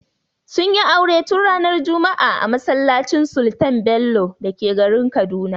Sun yi aure tun ranar juma'a a masallacin Sultan Bello da ke garin Kaduna.